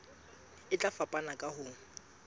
e tla fapana ka ho